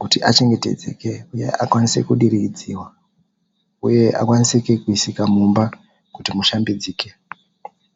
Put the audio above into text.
kuti achengetedzeke uye akwanise kudiridziwa uye akwanisike kuisika mumba kuti mushambidzike.